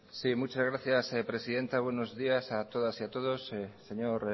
muchas gracias presidenta buenos días a todas y a todos señor